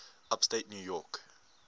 upstate new york